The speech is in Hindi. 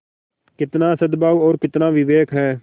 कितना सदभाव और कितना विवेक है